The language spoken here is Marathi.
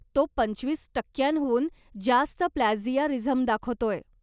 तो पंचवीस टक्क्यांहून जास्त प्लॅजियारिझम दाखवतोय